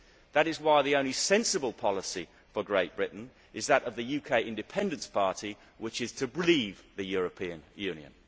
That is why the only sensible policy for Great Britain is that of the UK Independence Party, which is to leave the European Union.